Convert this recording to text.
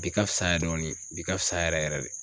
Bi ka fisa yɛ dɔɔni bi ka fisa yɛrɛ yɛrɛ de.